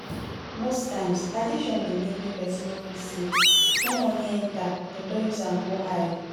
most times addiction dey make person no person no fit save small money enter dem don use am go high